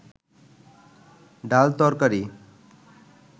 ডাল তরকারি